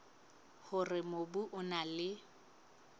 hore mobu o na le